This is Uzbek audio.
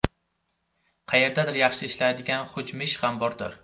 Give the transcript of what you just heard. Qayerdadir yaxshi ishlaydigan XUJMSh ham bordir.